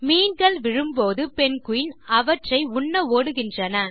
மீன்கள் விழும்போது பெங்குயின் அவற்றை உண்ண ஓடுகின்றன